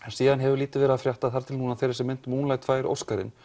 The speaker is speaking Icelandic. síðan hefur lítið verið að frétta þar til núna þegar þessi mynd Moonlight fær Óskarinn